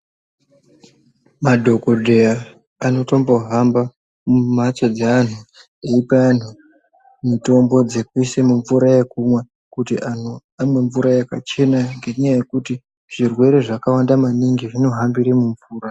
Madhokodheya anotombohamba mumhatso dzeanhu eipa anhu mitombo dzekuisa mumvura yekumwa kuti anhu amwee mvura. yakachena ngenyaya yekuti zvirwere zvakawanda maningi zvinohambire mumvura.